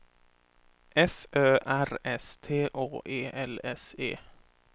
F Ö R S T Å E L S E